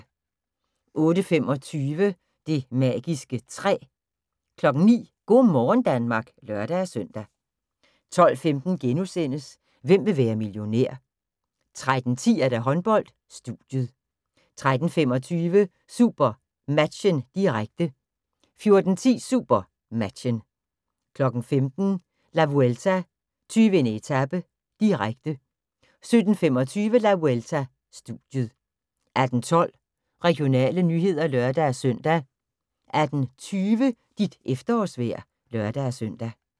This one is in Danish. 08:25: Det magiske træ 09:00: Go' morgen Danmark (lør-søn) 12:15: Hvem vil være millionær? * 13:10: Håndbold: Studiet 13:25: SuperMatchen, direkte 14:10: SuperMatchen 15:00: La Vuelta: 20. etape, direkte 17:25: La Vuelta: Studiet 18:12: Regionale nyheder (lør-søn) 18:20: Dit efterårsvejr (lør-søn)